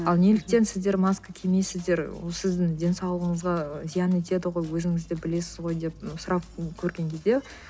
а ал неліктен сіздер маска кимейсіздер ол сіздің денсаулығыңызға зиян етеді ғой өзіңізді білесіз ғой деп сұрап көрген кезде